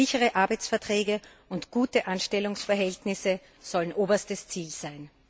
Sichere Arbeitsverträge und gute Anstellungsverhältnisse sollen oberstes Ziel sein